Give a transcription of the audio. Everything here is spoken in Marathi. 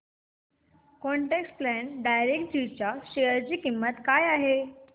क्वान्ट टॅक्स प्लॅन डायरेक्टजी च्या शेअर ची किंमत काय आहे